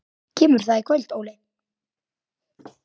Kemur það í kvöld?